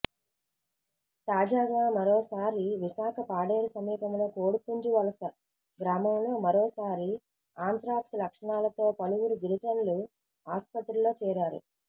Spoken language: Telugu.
తాజాగా మరోసారి విశాఖ పాడేరు సమీపంలో కోడిపుంజు వలస గ్రామంలో మరోసారి ఆంత్రాక్స్ లక్షణాలతో పలువురు గిరిజనులు ఆసుపత్రిలో చేరారు